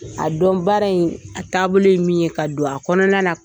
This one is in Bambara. A dɔn baara in a taabolo ye min ye ka don a kɔnɔna na